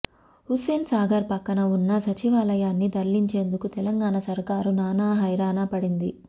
హుస్సేన్ సాగర్ పక్కన ఉన్న సచివాలయాన్ని తరలించేందుకు తెలంగాణ సర్కారు నానా హైరానా పడింది